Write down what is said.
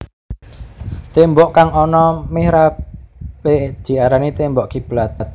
Témbok kang ana mihrabé diarani témbok kiblat